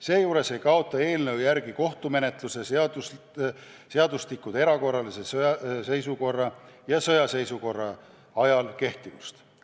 Seejuures ei kaota kohtumenetluse seadustikud erakorralise seisukorra ja sõjaseisukorra ajal kehtivust.